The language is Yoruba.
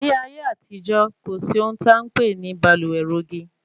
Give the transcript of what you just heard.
Ní ayé àtijó, kò sí ohun tí a npè ní baluwe rogi